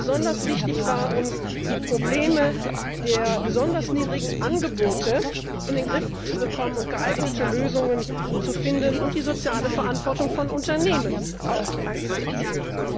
Und besonders wichtig war uns, die Probleme der besonders niedrigen Angebote in den Griff zu bekommen und geeignete Lösungen zu finden und auch die soziale Verantwortung von Unternehmen einzubeziehen.